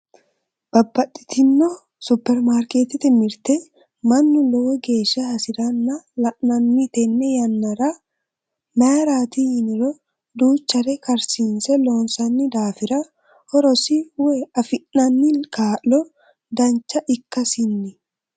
Babbaxxitino superimaarketete mirte mannu lowo geeshsha hasiranna la'nanni tene yannara mayrati yiniro duuchare karsiise loonsanni daafira horosi woyi afi'nanni kaalo dancha ikkasinni.